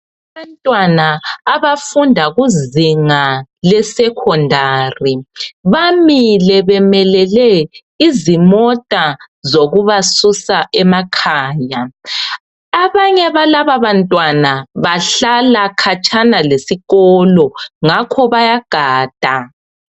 abantwana abafunda kuzinga le secondary bamile bemelele izimota zokubasusa emakhaya abanye balaba bantwana bahla akhatshana lesikolo ngakho bayagada